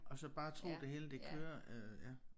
Og så bare tro det hele det kører øh ja